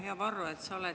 Hea Varro!